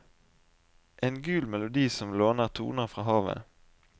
En gul melodi som låner toner fra havet.